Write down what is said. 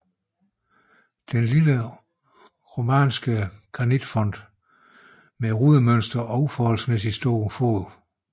Lille romansk granitfont med rudemønster og uforholdsmæssig stor fod